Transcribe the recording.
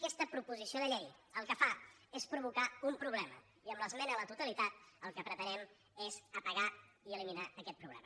aquesta proposició de llei el que fa és provocar un problema i amb l’esmena a la totalitat el que pretenem és apagar i eliminar aquest problema